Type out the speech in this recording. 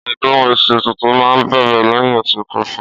Ọdún iṣu tuntun ma bẹ̀rẹ̀ lẹ́hìn oṣù kefa.